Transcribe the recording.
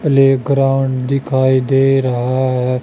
Playground दिखाई दे रहा है।